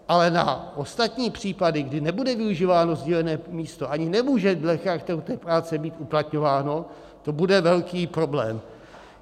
Ale na ostatní případy, kdy nebude využíváno sdílené místo, ani nemůže dle charakteru té práce být uplatňováno, to bude velký problém.